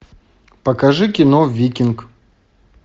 покажи кино викинг